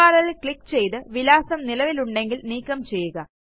URLൽ click ചെയ്ത് വിലാസം നിലവിലുണ്ടെങ്കിൽ നീക്കം ചെയ്യുക